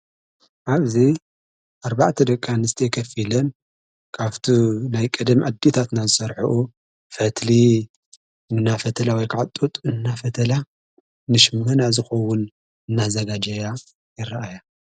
ዓብዙ ኣርባዕተ ደቂኣንስቲዮ ኸፊለን ካፍቲ ናይ ቀደም ዕዲታትናዝሠርሕዑ ፈትሊ እናፈተላ ወይከዕጡጥ እናፈተላ ንሽምህና ዝኾውን እናዘጋጃያ የረአያ።